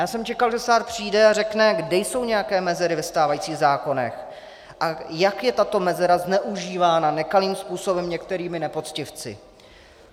Já jsem čekal, že stát přijde a řekne, kde jsou nějaké mezery ve stávajících zákonech a jak je tato mezera zneužívána nekalým způsobem některými nepoctivci.